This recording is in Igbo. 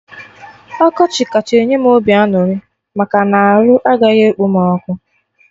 Ọkọchị kacha enye m obi aṅụrị maka na arụ agaghị ekpom ọkụ